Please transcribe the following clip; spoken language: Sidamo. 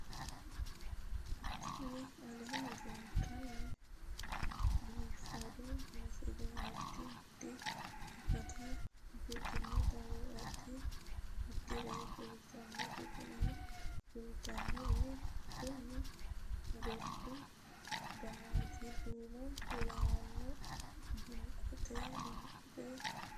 Tini aleenni leetannoti biifado misile adi addi akata afidhinote woy addi addire kultannote tini kultannori kuni gordu danaati duumo lawanno banqote bilcceessino no